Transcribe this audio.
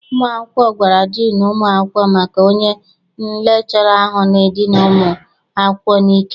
Ụmụ akwụkwọ gwara diinu ụmụ akwụkwọ maka onye lekchọra ahụ na-edina ụmụ akwụkwọ n'ike.